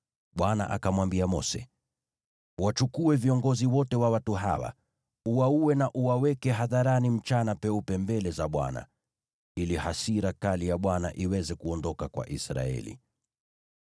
Bwana akamwambia Mose, “Uwachukue viongozi wote wa watu hawa, uwaue na uwaweke hadharani mchana peupe mbele za Bwana , ili hasira kali ya Bwana iweze kuondoka kwa Israeli.”